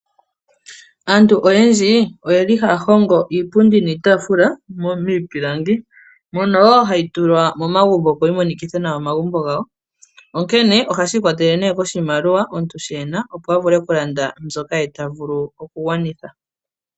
Aantu oyendji oyeli haya hongo iipundi niitafula miipilangi, mono hayi tulwa momagumbo opo yi monikithe nawa omagumbo gawo. Ohashi ikwatelele nee koshimaliwa omuntu sho ena opo avule okulanda mbyoka ye tavulu oku gwanitha.